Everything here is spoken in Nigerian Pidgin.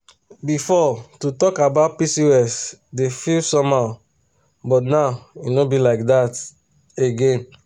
the health center dey give free brochure on pcos now na better thing be that.